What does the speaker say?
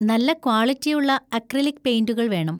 നല്ല ക്വാളിറ്റിയുള്ള അക്രിലിക് പെയിന്‍റുകൾ വേണം.